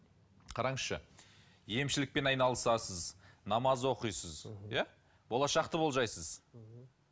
қараңызшы емшілікпен айналысасыз намаз оқисыз иә болашақты болжайсыз мхм